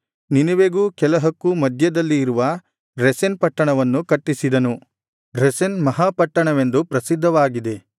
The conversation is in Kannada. ನಿನೆವೆಗೂ ಕೆಲಹಕ್ಕೂ ಮಧ್ಯದಲ್ಲಿ ಇರುವ ರೆಸೆನ್ ಪಟ್ಟಣವನ್ನೂ ಕಟ್ಟಿಸಿದನು ರೆಸೆನ್ ಮಹಾಪಟ್ಟಣವೆಂದು ಪ್ರಸಿದ್ಧವಾಗಿದೆ